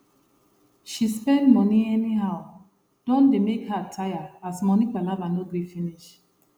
she spend money anyhow don dey make her tire as money palava no gree finish